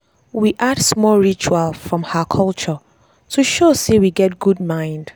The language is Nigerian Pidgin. we add small ritual from her culture to show sey we get good mind.